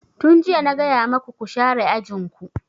Tun jiya na gaya maku ku share ajin ku!